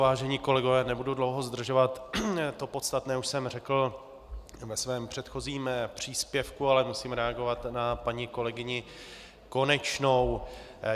Vážení kolegové, nebudu dlouho zdržovat, to podstatné už jsem řekl ve svém předchozím příspěvku, ale musím reagovat na paní kolegyni Konečnou.